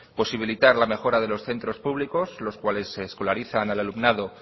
posibilitar la mejora de los centros públicos los cuales escolarizan al alumnado